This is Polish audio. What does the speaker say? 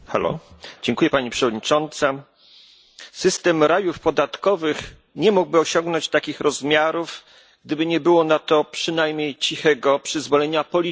System rajów podatkowych nie mógłby osiągnąć takich rozmiarów, gdyby nie było na to przynajmniej cichego przyzwolenia polityków, w tym polityków europejskich.